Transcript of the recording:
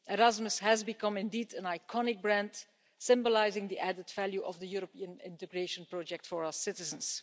Erasmus has become indeed an iconic brand, symbolising the added value of the European integration project for our citizens.